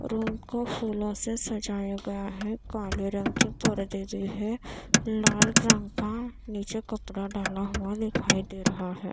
Room को फूलों से सजाया गया है काले रंग के परदे भी हैं लाल रंग का नीचे कपड़ा डाला हुआ दिखाई दे रहा है।